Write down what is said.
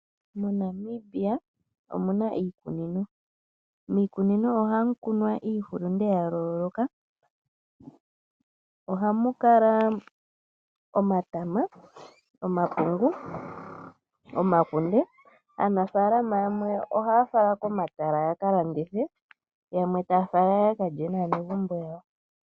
MoNamibia omu na iikunino. Miikunino ohamu kunwa iihulunde ya yooloka. Ohamu kala omatama, omapungu, omakunde. Aanafaalama yamwe ohaa fala komatala ya ka landithe, yamwe taa fala ya ka lye naanegumbo yawo.